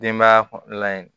Denbaya la